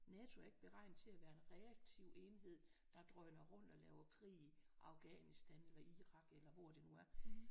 NATO er ikke beregnet til at være en reaktiv enhed der drøner rundt og laver krig i Afghanistan eller Irak eller hvor det nu er